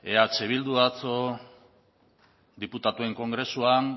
eh bilduk atzo diputatuen kongresuan